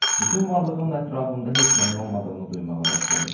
Bütün varlığımla ətrafımda heç nəyin olmadığını duymağa başladım.